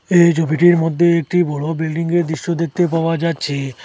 এই ছবিটির মদ্যে একটি বড়ো বিল্ডিংয়ের দৃশ্য দেখতে পাওয়া যাচ্ছে।